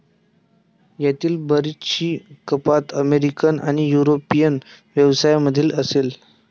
यातील बरीचशी कपात अमेरिकन आणि युरोपियन व्यवसायामधील असेल.